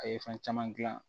A ye fɛn caman gilan